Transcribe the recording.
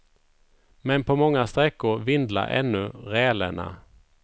Men på många sträckor vindlar ännu rälerna.